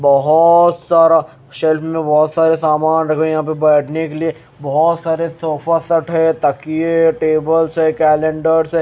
बहोत सारा सेल्फ में बहोत सारे सामान रखे हैं यहां पे बैठने के लिए बहोत सारे सोफा सेट हैं तकिया टेबल्स है कैलेंडर्स है।